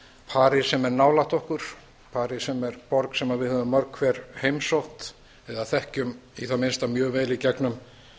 parís sem er nálægt okkar parís sem er borg sem við höfum mörg hver heimsótt eða þekkjum í það minnsta mjög vel í gegnum